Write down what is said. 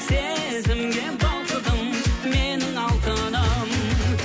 сезімге балқыдым менің алтыным